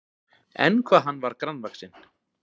En hvað hann var grannvaxinn!